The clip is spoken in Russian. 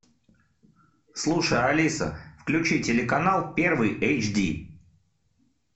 слушай алиса включи телеканал первый эйч ди